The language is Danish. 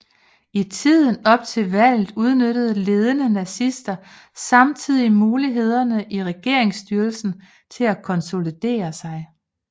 I tiden op til valget udnyttede ledende nazister samtlige muligheder i regeringsstyrelsen til at konsolidere sig